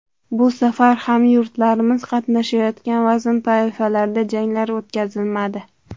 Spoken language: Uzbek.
Bu safar hamyurtlarimiz qatnashayotgan vazn toifalarida janglar o‘tkazilmadi.